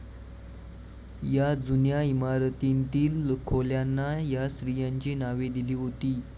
या जुन्या इमारतीतील खोल्यांना या स्त्रीयांची नावे दिली होती.